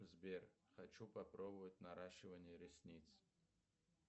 сбер хочу попробовать наращивание ресниц